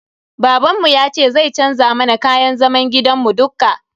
Babanmu yace zai canza mana kayan zaman gidan mu dukka.